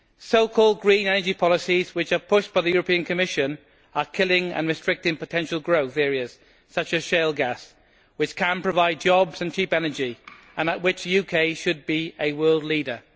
So called green energy policies, which are pushed by the European Commission, are killing and restricting potential growth areas, such as shale gas, which can provide jobs and cheap energy and in which the UK should be a world leader.